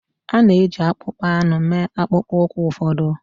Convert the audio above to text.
A na-eji akpụkpọ anụ mee akpụkpọ ụkwụ ụfọdụ